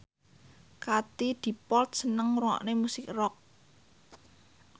Katie Dippold seneng ngrungokne musik rock